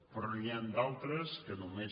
però n’hi han d’altres que només